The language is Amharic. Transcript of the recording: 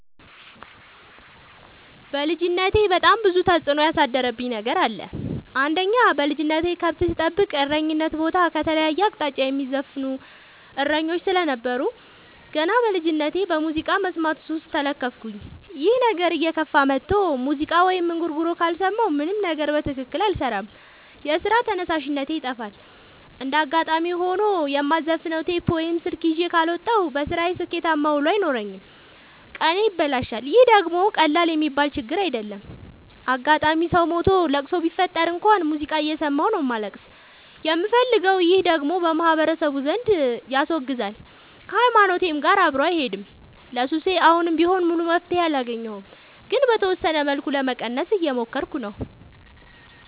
በልጅነቴ በጣም ብዙ ተጽዕኖ ያሳደረብኝ ነገር አለ። አንደኛ በልጅነቴ ከብት ስጠብቅ እረኝነት ቦታ ከተለያየ አቅጣጫ የሚዘፍኑ እሰኞች ስለነበሩ። ገና በልጅነቴ በሙዚቃ መስማት ሱስ ተለከፍኩኝ ይህ ነገርም እየከፋ መጥቶ ሙዚቃ ወይም እንጉርጉሮ ካልሰማሁ ምንም ነገር በትክክል አልሰራም የስራ ተነሳሽነቴ ይጠፋል። እንደጋጣሚ ሆኖ የማዘፍ ነው ቴፕ ወይም ስልክ ይዤ ካልወጣሁ። በስራዬ ስኬታማ ውሎ አይኖረኝም ቀኔ ይበላሻል ይህ ደግሞ ቀላል የሚባል ችግር አይደለም። አጋጣም ሰው ሞቶ ለቅሶ ቢፈጠር እንኳን ሙዚቃ እየሰማሁ ነው ማልቀስ የምፈልገው ይህ ደግሞ በማህበረሰቡ ዘንድ ያስወግዛል። ከሀይማኖቴም ጋር አብሮ አይሄድም። ለሱሴ አሁንም ቢሆን ሙሉ መፍትሔ አላገኘሁም ግን በተወሰነ መልኩ ለመቀነስ እየሞከርኩ ነው።